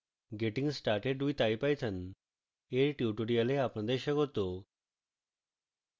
getting started with ipython এর tutorial আপনাদের স্বাগত